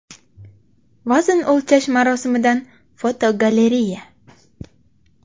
Vazn o‘lchash marosimidan fotogalereya.